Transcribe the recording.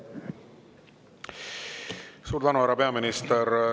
Suur tänu, härra peaminister!